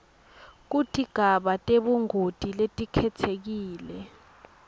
kutigaba tebungoti letikhetsekile